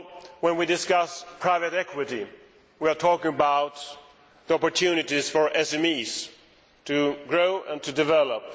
When we discuss private equity, we are talking about the opportunities for SMEs to grow and to develop.